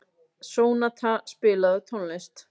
Sónata, spilaðu tónlist.